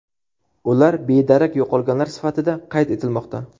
Ular bedarak yo‘qolganlar sifatida qayd etilmoqda.